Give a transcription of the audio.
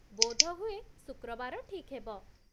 ବୋଧହୁଏ ଶୁକ୍ରବାର ଠିକ୍ ହେବ।